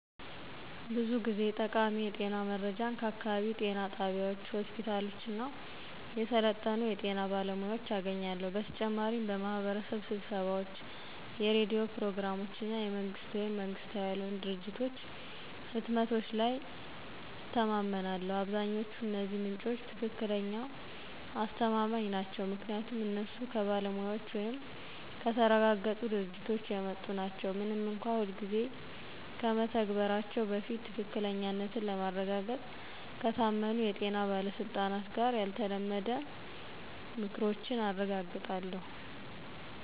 ብዙ ጊዜ ጠቃሚ የጤና መረጃን ከአካባቢው ጤና ጣቢያዎች፣ ሆስፒታሎች እና የሰለጠኑ የጤና ባለሙያዎች አገኛለሁ። በተጨማሪም በማህበረሰብ ስብሰባዎች፣ የሬዲዮ ፕሮግራሞች እና የመንግስት ወይም መንግሥታዊ ያልሆኑ ድርጅቶች ህትመቶች ላይ እተማመናለሁ። አብዛኛዎቹ እነዚህ ምንጮች ትክክለኛ አስተማማኝ ናቸው ምክንያቱም እነሱ ከባለሙያዎች ወይም ከተረጋገጡ ድርጅቶች የመጡ ናቸው፣ ምንም እንኳን ሁልጊዜ ከመተግበራቸው በፊት ትክክለኛነትን ለማረጋገጥ ከታመኑ የጤና ባለስልጣናት ጋር ያልተለመደ ምክሮችን አረጋግጣለሁ።